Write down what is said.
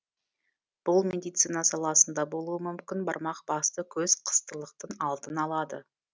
бұл медицина саласында болуы мүмкін бармақ басты көз қыстылықтың алдын алады